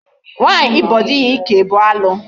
Nwaanyị ịbọ dị ya ike bụ alụ.